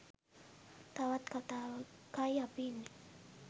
තවත් කතාවකයි අපි ඉන්නේ.